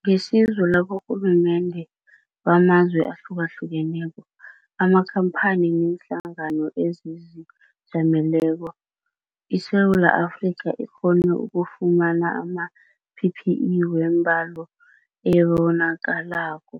Ngesizo laborhulumende bamazwe ahlukahlukeneko, amakhampani neenhlangano ezizijameleko, iSewula Afrika ikghone ukufumana ama-PPE wembalo ebonakalako,